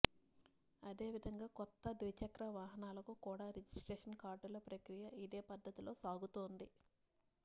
అదేవిధంగా కొత్త ద్విచక్ర వాహనాలకు కూడా రిజిస్ట్రేషన్ కార్డుల ప్రక్రియ ఇదే పద్ధతిలో సాగుతోంది